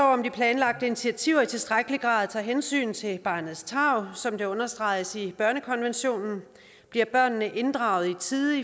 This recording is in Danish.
om de planlagte initiativer i tilstrækkelig grad tager hensyn til barnets tarv som det understreges i børnekonventionen bliver børnene inddraget i tide